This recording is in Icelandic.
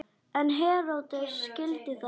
En Heródes skildi það ekki.